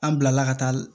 An bilala ka taa